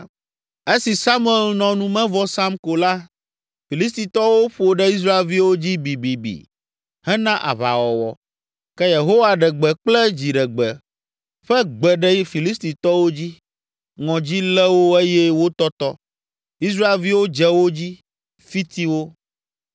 Esi Samuel nɔ numevɔ sam ko la, Filistitɔwo ƒo ɖe Israelviwo dzi bibibi hena aʋawɔwɔ. Ke Yehowa ɖe gbe kple dziɖegbe ƒe gbe ɖe Filistitɔwo dzi, ŋɔdzi lé wo eye wotɔtɔ. Israelviwo dze wo dzi, fiti wo.